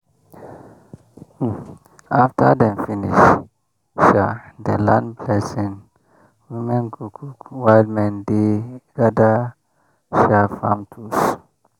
um after dem finish um the land blessing women go cook while men dey gather um farm tools.